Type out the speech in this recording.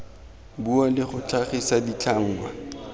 bua le go tlhagisa ditlhangwa